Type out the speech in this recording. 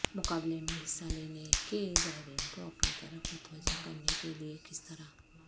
مقابلے میں حصہ لینے کے زائرین کو اپنی طرف متوجہ کرنے کے لئے کس طرح